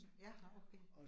Ja, nåh okay